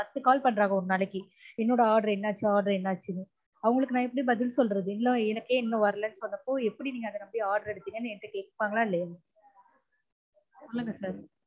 பத்து call பன்ணுறாங்க ஒரு நாளைக்கு என்னடா order என்னாச்சு order என்னாச்சுனு அவங்களுக்கு நான் எப்டி பதில் சொல்றது இல்ல எனக்கே இன்னும் வரலனு சொல்றப்ப எப்பிடி அத நம்பி நீங்க order எடுத்தீங்கனு என்ட்ட கேப்பாங்கலா இல்லயா சொல்லுங்க sir